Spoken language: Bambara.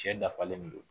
Cɛ dafalen don